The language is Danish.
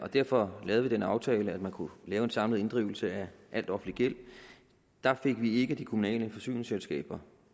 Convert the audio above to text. derfor lavede vi den aftale at man kunne lave en samlet inddrivelse af al offentlig gæld der fik vi ikke de kommunale forsyningsselskaber